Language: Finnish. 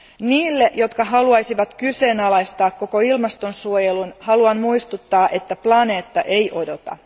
Niille, jotka haluaisivat kyseenalaistaa koko ilmastonsuojelun, haluan muistuttaa että planeetta ei odota.